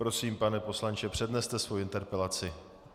Prosím, pane poslanče, předneste svou interpelaci.